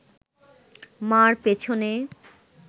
মা’র পেছনে